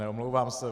Omlouvám se.